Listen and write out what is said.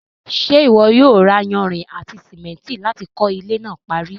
ṣé ìwọ yóò ra iyanrìn àti sìmẹ́ntì láti kọ́ ilẹ́ náà parí?